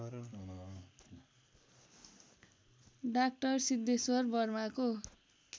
डा सिद्धेश्वर वर्माको